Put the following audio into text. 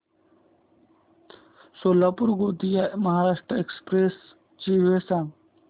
Solapur Gondia Maharashtra express ची वेळ सांगा